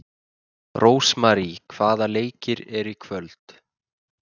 Rósmary, hvaða leikir eru í kvöld?